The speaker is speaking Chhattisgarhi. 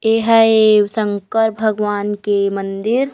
ये ह ए शंकर भगवान के मंदिर--